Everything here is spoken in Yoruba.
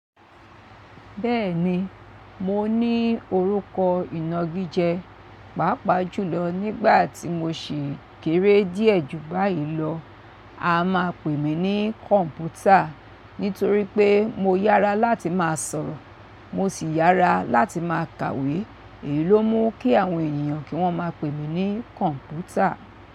Bẹ́ẹ̀ni, mo ní orúkọ ìnagijẹ, pàápàá jùlọ nígbà tí mo sì kéré díẹ̀ ju báyìí lọ. A máa pè mí ní Kọ̀m̀pútà nítorí pé mo yára láti máa sọ̀rọ̀, mo sì yára láti máa kàwé. Èyí ló mú kí àwọn ènìyàn kí wọ́n máa pè mí ní Kọ̀m̀pútà.